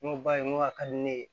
N ko ba ye n ko a ka di ne ye